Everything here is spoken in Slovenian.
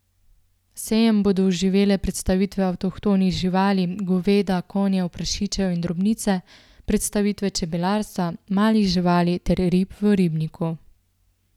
Sejem bodo oživile predstavitve avtohtonih živali, goveda, konjev, prašičev in drobnice, predstavitve čebelarstva, malih živali ter rib v ribniku.